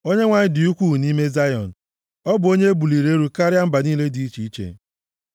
Onyenwe anyị dị ukwuu nʼime Zayọn; ọ bụ onye e buliri elu karịa mba niile dị iche iche.